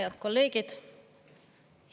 Head kolleegid!